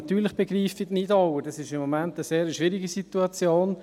Natürlich begreife ich die Nidauer, es ist im Moment eine sehr schwierige Situation.